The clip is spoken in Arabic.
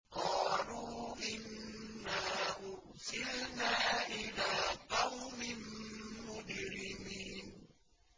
قَالُوا إِنَّا أُرْسِلْنَا إِلَىٰ قَوْمٍ مُّجْرِمِينَ